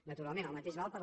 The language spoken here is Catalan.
naturalment el mateix val per a